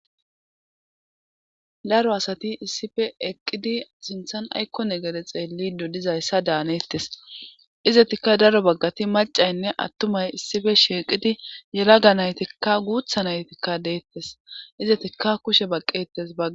daro asati issife eqqidi sinthan aykko negere xeelli do dizayssa daanettes izetikka daro baggati macaynne attumay issife sheeqidi yelaga naytikka guutha naytikka deettes izetikka kushe baqqettes baga